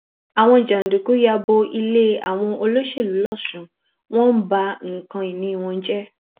àwọn jàǹdùkú ya bo ilé àwọn olóṣèlú lọsùn wọn ń ba nǹkan ìní wọn jẹ